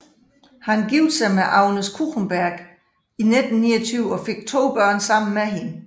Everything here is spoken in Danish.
Han giftede sig med Agnes Kuchenberg i 1929 og fik to børn sammen med hende